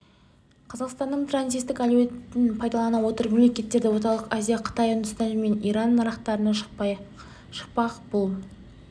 қазақстанның транзиттік әлеуетін пайдалана отырып мемлекеттері орталық азия қытай үндістен мен иран нарықтарына шықпақ бұл